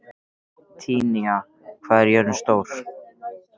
Tanya, hvað er jörðin stór?